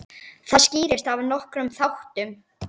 Það skýrist af nokkrum þáttum.